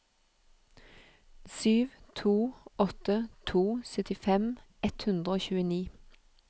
sju to åtte to syttifem ett hundre og tjueni